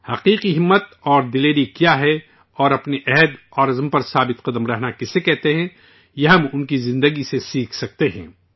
سچا حوصلہ کیا ہے اور اپنی قوت ارادی پر قائم رہنا کسے کہتے ہیں، یہ ہم ان کی زندگی سے سیکھ سکتے ہیں